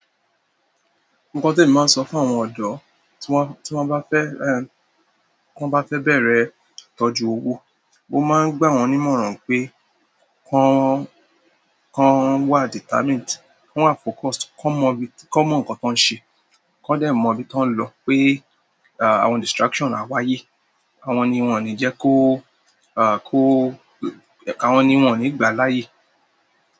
Nǹkan temi maa n sọpe fún àwọn ọdọ tiwọn ba fẹ, tiwọn ba fẹ́ràn bẹrẹ ìtọ́jú owó, mo máa ń gbà wọ́n nímọ̀ràn pé kan, kan wá determined, wọ́n wà focused, kan mọ ibi, kọ́ mọ nǹkan tan ń ṣe, kọ́ dẹ̀ mọ ibi tó ń lọ pé àwọn distraction à wáyé. Àwọn ni wọ́n ni jẹ kó, à kó, àwọn ni wọ́n ò ní gbà láàyè.